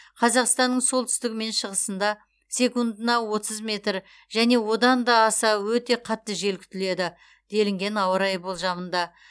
қазақстанның солтүстігі мен шығысында секундына отыз метр және одан да аса өтте қатты жел күтіледі деліген ауа райы болжамында